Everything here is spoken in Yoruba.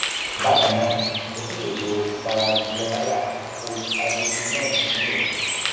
bákan náà o tún lè lo ìpara glyaha koj hydroquinone ní òru